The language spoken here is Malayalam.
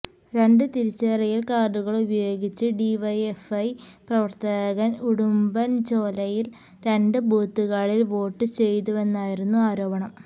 രണ്ട് തിരിച്ചറിയൽ കാർഡുകൾ ഉപയോഗിച്ച് ഡിവൈഎഫ്ഐ പ്രവർത്തകൻ ഉടുമ്പൻചോലയിൽ രണ്ട് ബൂത്തുകളിൽ വോട്ട് ചെയ്തുവെന്നായിരുന്നു ആരോപണം